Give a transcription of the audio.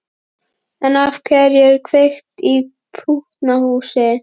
En af hverju að kveikja í pútnahúsi?